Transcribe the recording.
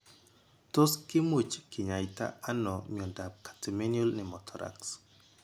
Tos kimuch kinyaita nao miondap catamenial pneumothorax.